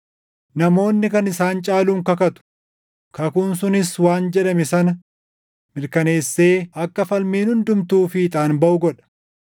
Namoonni kan isaan caaluun kakatu; kakuun sunis waan jedhame sana mirkaneessee akka falmiin hundumtuu fiixaan baʼu godha.